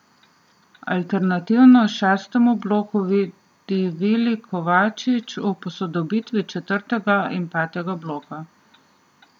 Alternativo šestemu bloku vidi Vili Kovačič v posodobitvi četrtega in petega bloka.